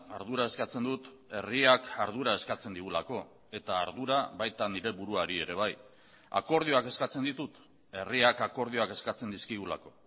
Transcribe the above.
ardura eskatzen dut herriak ardura eskatzen digulako eta ardura baita nire buruari ere bai akordioak eskatzen ditut herriak akordioak eskatzen dizkigulako